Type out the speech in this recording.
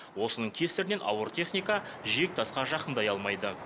осының кесірінен ауыр техника жиектасқа жақындай алмайды